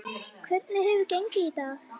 Hvernig hefur gengið í dag?